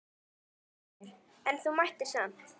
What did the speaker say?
Heimir: En þú mættir samt?